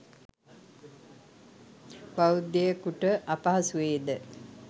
බෞද්ධයෙකුට අපහසු වේ ද?